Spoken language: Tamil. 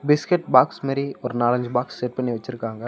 பிஸ்கட் பாக்ஸ் மாரி ஒரு நாலஞ்சு பாக்ஸ் செட் பண்ணி வெச்சிருக்காங்க.